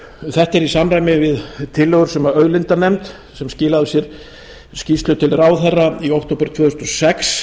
er í samræmi við tillögur sem auðlindanefnd sem skilaði af sér skýrslu til ráðherra í október tvö þúsund og sex